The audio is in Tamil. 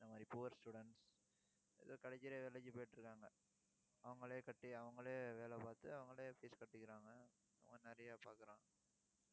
இந்த மாதிரி poor students ஏதோ கிடைக்கிற வேலைக்கு போயிட்டு இருக்காங்க. அவங்களே கட்டி, அவங்களே வேலை பார்த்து, அவங்களே fees கட்டிக்கிறாங்க ஆஹ் நிறைய பாக்குறாங்க